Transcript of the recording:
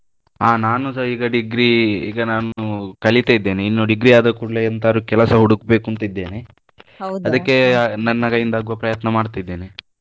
ಅಹ್ ನಾನುಸ ಈಗ degree ಈಗ ನಾನು ಕಲಿತಾ ಇದ್ದೇನೆ ಇನ್ನು degree ಆದ ಕೂಡ್ಲೇ ಎಂತಾದ್ರೂ ಕೆಲಸ ಹುಡುಕ್ಬೇಕುಂತಿದ್ದೇನೆ. ಅದಿಕ್ಕೆ ನನ್ನ ಕೈಯಿಂದ ಆಗುವ ಪ್ರಯತ್ನ ಮಾಡ್ತಿದ್ದೇನೆ.